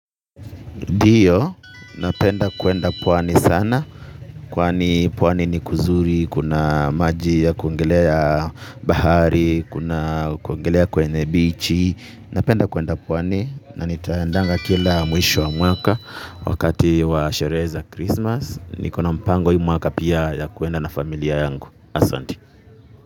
Ndiyo, napenda kuenda pwani sana, kwani pwani ni kuzuri, kuna maji ya kuogelea bahari, kuna kuogelea kwenye bichi, napenda kuenda pwani na nitaendanga kila mwisho wa mwaka wakati wa sherehe Christmas, nikona mpango hii mwaka pia ya kuenda na familia yangu, asanti.